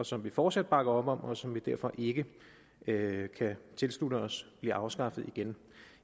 som vi fortsat bakker op om og som vi derfor ikke ikke kan tilslutte os bliver afskaffet igen